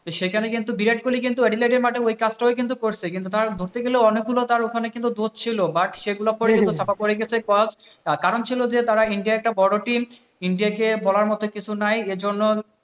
সেখানে কিন্তু বিরাট কোহলি কিন্তু এক দিকে মাঠে ওই কামটাই করছিে। তার ধরতে গেলে তার ওখানে কিন্তু অনেকগুলো দোষ ছিল but সেগুলো করে কিন্তু চাপা পড়ে গেছে, পর, তার কারণ ছিল যে তার ইন্ডিয়া একটা বড় টিম। ইন্ডিয়া কে বলার মতো কিছু নাই এজন্য